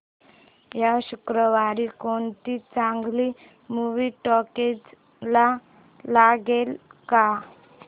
या शुक्रवारी कोणती चांगली मूवी टॉकीझ ला लागेल का